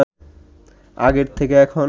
আগের থেকে এখন